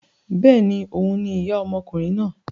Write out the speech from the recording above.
Bẹ́ẹ̀ni, òhun ni ìyá ọmọkùnrin náà.